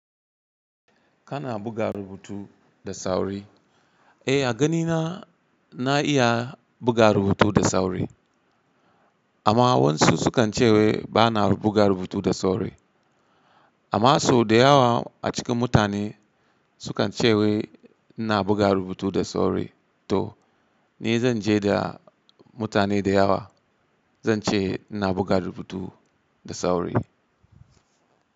Kana buga rubutu da sauri? Eh, a ganina na iya buga rubutu da sauri. Amma wasu su kan ce wai bana buga rubutu da sauri. Amma sau da yawa a cikin mutane su kan ce wai ina buga rubutu da sauri. To ni zan je da mutane da yawa, zan ce ina buga rubutu da sauri.